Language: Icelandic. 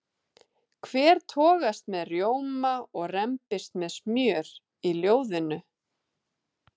Hver togast með rjóma og rembist með smjör í ljóðinu?